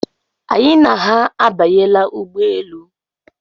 Anyị na ha abanyela ụgbọelu.